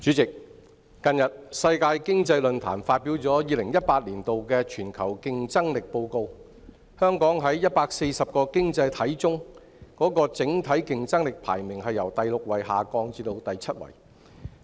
主席，近日世界經濟論壇發表2018年的全球競爭力報告，香港在140個經濟體中的整體競爭力排名由第六位下降至第七位。